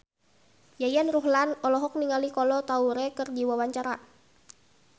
Yayan Ruhlan olohok ningali Kolo Taure keur diwawancara